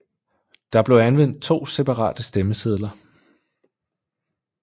Der blev anvendt 2 separate stemmesedler